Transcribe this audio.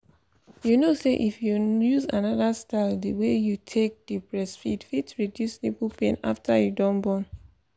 you kow say if you use anoda style the way you take dey breastfeed fit reduce nipple pain after you don born